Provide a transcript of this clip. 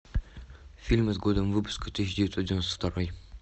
фильмы с годом выпуска тысяча девятьсот девяносто второй